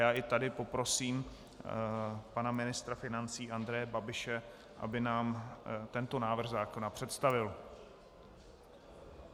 Já i tady poprosím pana ministra financí Andreje Babiše, aby nám tento návrh zákona představil.